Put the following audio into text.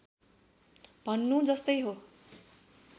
भन्नु जस्तै हो